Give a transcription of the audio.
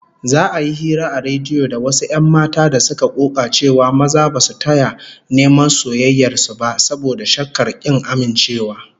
Za'a yi hira a rediyo da wasu 'yan mata da suka koka cewa maza ba su taya neman soyayyar su, saboda shakkar kin amincewa